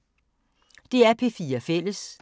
DR P4 Fælles